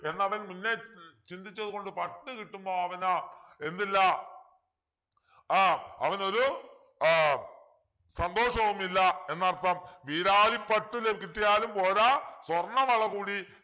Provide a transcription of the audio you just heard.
എന്നവൻ മുന്നേ ഉം ചിന്തിച്ചത് കൊണ്ട് പട്ടു കിട്ടുമ്പോ അവനു എന്തില്ല ആഹ് അവനൊരു ആഹ് സന്തോഷവുമില്ല എന്നർത്ഥം വീരാളിപ്പട്ടു ല കിട്ടിയാലും പോരാ സ്വർണവള കൂടി